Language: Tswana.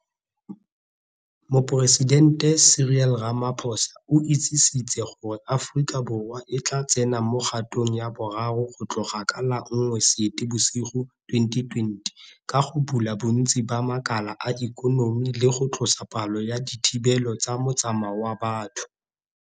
Moporesidente Cyril Ramaphosa o itsisitse gore Aforika Borwa e tla tsena mo kgatong ya boraro go tloga ka la 1 Seetebosigo 2020 ka go bula bontsi ba makala a ikonomi le go tlosa palo ya dithibelo tsa motsamao wa batho.